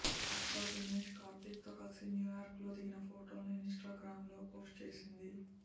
భర్త దినేష్ కార్తీక్తో కలిసి న్యూ యార్క్లో దిగిన ఫోటోలను ఇన్స్టాగ్రామ్లో పోస్ట్ చేసింది